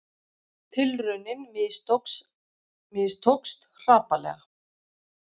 Tilraunin mistókst hrapalega